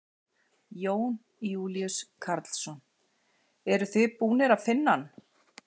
Jón Júlíus Karlsson: Eruð þið búnir að finna hann?